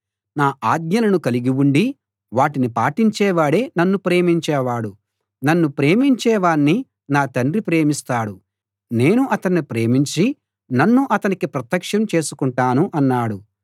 నా ఆజ్ఞలను కలిగిఉండి వాటిని పాటించేవాడే నన్ను ప్రేమించేవాడు నన్ను ప్రేమించేవాణ్ణి నా తండ్రి ప్రేమిస్తాడు నేను అతన్ని ప్రేమించి నన్ను అతనికి ప్రత్యక్షం చేసుకుంటాను అన్నాడు